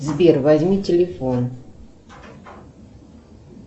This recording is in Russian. сбер возьми телефон